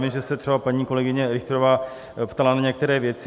Vím, že se třeba paní kolegyně Richterová ptala na některé věci.